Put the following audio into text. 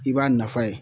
I b'a nafa ye